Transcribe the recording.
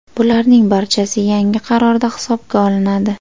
Bularning barchasi yangi qarorda hisobga olinadi.